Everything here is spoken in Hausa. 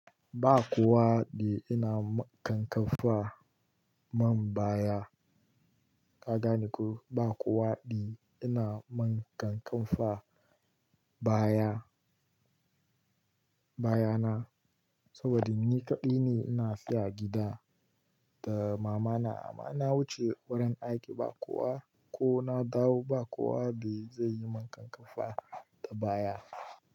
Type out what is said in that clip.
Ba kowa eh ina kankafa man baya. Ka gane ko? Ba kowa ina man kankafa baya, bayana saboda ni kaɗai ne ina seya a gida da mama na. Amma na wuce gurin aiki ba kowa ko na dawo ba kowa ba zai yi mun kankafa da baya.